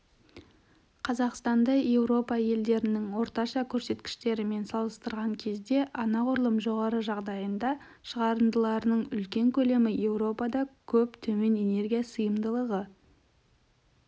қазақстанды еуропа елдерінің орташа көрсеткіштерімен салыстырған кезде анғұрлым жоғары жағдайында шығарындыларының үлкен көлемі еуропада көп төмен энергия сиымдылығы